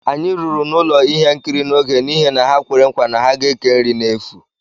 Anyị ruru n'ụlọ ihe nkiri n'oge n'ihi na ha kwere nkwa na ha ga ékè nri nri n'efu